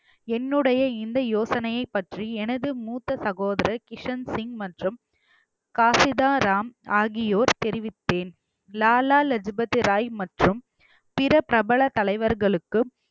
என்னுடைய இந்த யோசனையை பற்றி எனது மூத்த சகோதரர் கிஷன் சிங் மற்றும் காசிதா ராம் ஆகியோர் தெரிவித்தேன் லாலா லஜு பதி ராய் மற்றும் பிற பிரபல தலைவர்களுக்கும்